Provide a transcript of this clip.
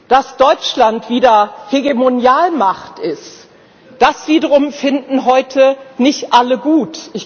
Dass Deutschland wieder Hegemonialmacht ist, das wiederum finden heute nicht alle gut.